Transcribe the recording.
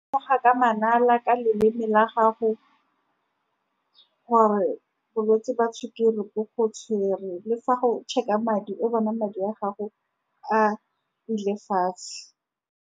Ka manala ka leleme la gago, gore balwetse jwa sukiri bo go tshwere le fa go check-a madi o bona madi a gago a ile fatshe.